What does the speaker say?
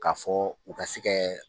K'a fɔ u ka se kɛ